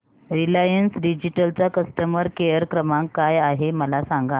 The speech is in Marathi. रिलायन्स डिजिटल चा कस्टमर केअर क्रमांक काय आहे मला सांगा